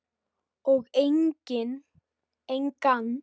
Og engan.